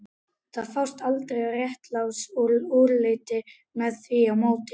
Það fást aldrei réttlát úrslit með því móti